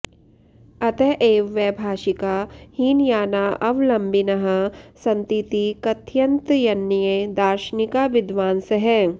अत एव वैभाषिका हीनयानाऽवलम्बिनः सन्तीति कथयन्त्यन्ये दार्शनिका विद्वांसः